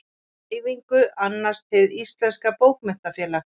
Dreifingu annast Hið íslenska bókmenntafélag.